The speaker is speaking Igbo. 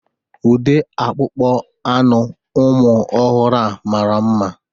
Ude akpụkpọ anụ ụmụ ọhụrụ a mara mma.